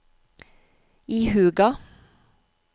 ihuga